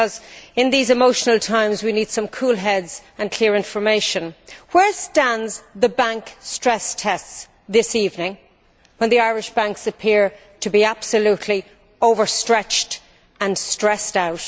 Because in these emotional times, we need some cool heads and clear information. Where stand the bank stress tests this evening, when the Irish banks appear to be absolutely overstretched and stressed out?